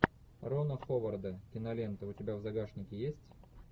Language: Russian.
рона ховарда кинолента у тебя в загашнике есть